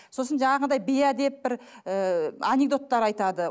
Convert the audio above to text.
сосын жаңағындай бейәдеп бір ыыы анекдоттар айтады